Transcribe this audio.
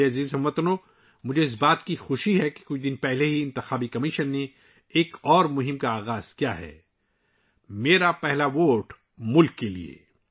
میرے پیارے ہم وطنو، مجھے خوشی ہے کہ چند دن پہلے ہی الیکشن کمیشن نے ایک اور مہم شروع کی ہے 'میرا پہلا ووٹ ملک کے لیے'